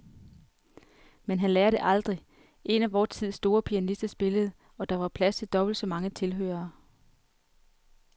Men han lærer det aldrig. En af vor tids store pianister spillede, og der var plads til dobbelt så mange tilhørere.